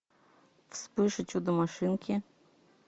вспыш и чудо машинки